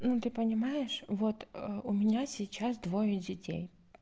ну ты понимаешь вот у меня сейчас двое детей